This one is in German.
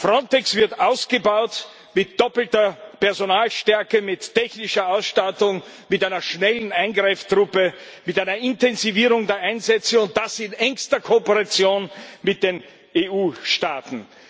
Frontex wird ausgebaut mit doppelter Personalstärke, mit technischer Ausstattung, mit einer schnellen Eingreiftruppe, mit einer Intensivierung der Einsätze und das in engster Kooperation mit den EU Staaten.